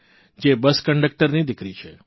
જે બસ કંડકટરની દિકરી છે